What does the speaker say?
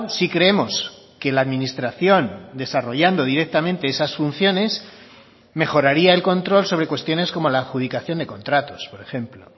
si creemos que la administración desarrollando directamente esas funciones mejoraría el control sobre cuestiones como la adjudicación de contratos por ejemplo o